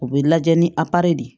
U bɛ lajɛ ni de ye